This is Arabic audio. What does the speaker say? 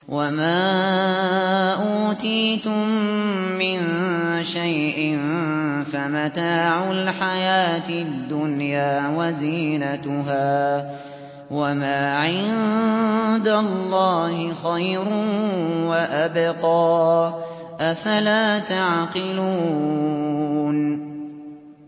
وَمَا أُوتِيتُم مِّن شَيْءٍ فَمَتَاعُ الْحَيَاةِ الدُّنْيَا وَزِينَتُهَا ۚ وَمَا عِندَ اللَّهِ خَيْرٌ وَأَبْقَىٰ ۚ أَفَلَا تَعْقِلُونَ